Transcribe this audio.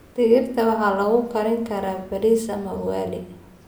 Digirta waxaa lagu kari karaa bariis ama ugali.